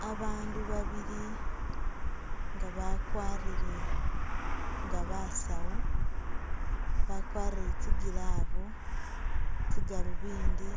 Babandu babili nga bakwarile nga basawu, bakwarile tsi'glove, tsi'galunvindi